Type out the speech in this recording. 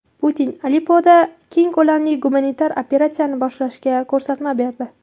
Putin Aleppoda keng ko‘lamli gumanitar operatsiyani boshlashga ko‘rsatma berdi.